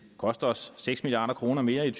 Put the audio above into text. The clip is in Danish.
koster os seks milliard kroner mere i